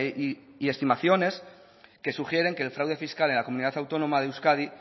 y estimaciones que sugieren que el fraude fiscal en la comunidad autónoma de euskadi